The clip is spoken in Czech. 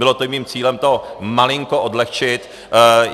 Bylo to i mým cílem to malinko odlehčit.